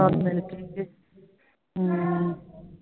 ਰਲ ਮਿਲਕੇ ਹਮ